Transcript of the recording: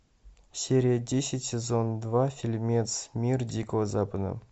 серия десять сезон два фильмец мир дикого запада